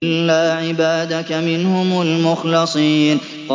إِلَّا عِبَادَكَ مِنْهُمُ الْمُخْلَصِينَ